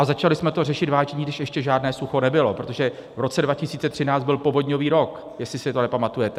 A začali jsme to řešit, vážení, když ještě žádné sucho nebylo, protože v roce 2013 byl povodňový rok, jestli si to nepamatujete.